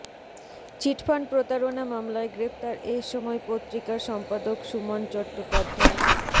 cheat fund প্রতারণা মামলায় গ্রেফতার এই সময় পত্রিকার সম্পাদক সুমন চট্টোপাধ্যায়